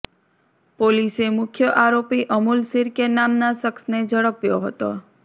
પોલીસે મુખ્ય આરોપી અમુલ શિર્કે નામના શખ્સને ઝડપ્યો હતો